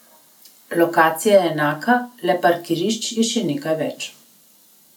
Lokacija je enaka, le parkirišč je še nekaj več.